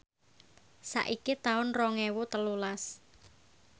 saiki taun rong ewu telulas